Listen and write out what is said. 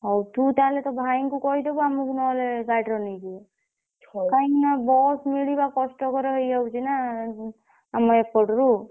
ହଉ ତୁ ତାହେଲେ ତୋ ଭାଇଙ୍କୁ କହିଦବୁ ଆମକୁ ନହେଲେ ଗାଡିରେ ନେଇଯିବେ କାଇଁକି ନା bus ମିଳିବା କଷ୍ଟକର ହେଇଯାଉଛି ନା ଆମ ଏଇପଟରୁ।